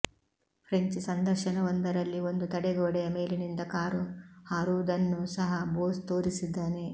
French ಸಂದರ್ಶನವೊಂದರಲ್ಲಿ ಒಂದು ತಡೆಗೋಡೆಯ ಮೇಲಿನಿಂದ ಕಾರು ಹಾರುವುದನ್ನೂ ಸಹ ಬೋಸ್ ತೋರಿಸಿದ್ದಾನೆ